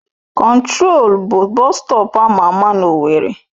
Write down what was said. Control bụ bọstọp ama ama na owerri